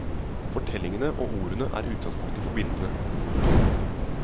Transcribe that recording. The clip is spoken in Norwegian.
Fortellingene og ordene er utgangspunktet for bildene. punktum